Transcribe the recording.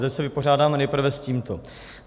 Takže se vypořádáme nejprve s tímto.